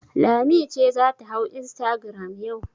Lami ce za ta hau instagram yau.